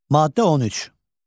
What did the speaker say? Maddə 13.